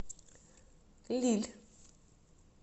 лилль